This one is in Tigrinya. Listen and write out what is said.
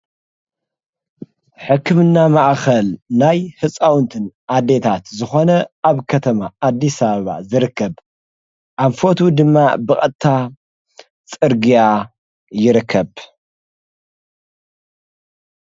ሕክምእና መዓኸል ናይ ሕፃውንትን ኣደታት ዝኾነ ኣብ ከተማ ኣዲሳባ ዝርከብ ኣምፈቱ ድማ በቐታ ጽርግያ ይርከብ።